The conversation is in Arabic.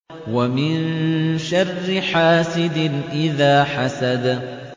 وَمِن شَرِّ حَاسِدٍ إِذَا حَسَدَ